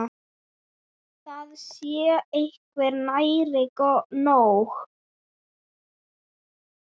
Það sé hvergi nærri nóg.